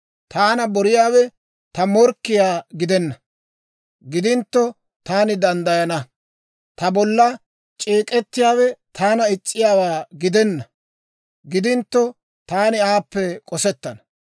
Taana boriyaawe ta morkkiyaa gidenna; gidintto taani danddayana. Ta bolla c'eek'ettiyaawe taana is's'iyaawaa gidenna; gidintto taani aappe k'osettana.